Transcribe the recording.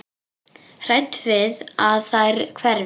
Hrædd við að þær hverfi.